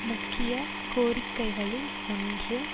முக்கிய கோரிக்கைகளில் ஒன்று